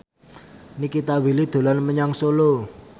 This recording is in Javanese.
Nikita Willy dolan menyang Solo